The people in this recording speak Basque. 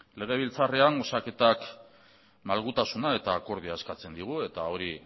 legebiltzarrean osaketa malgutasuna eta akordioa eskatzen digu eta hori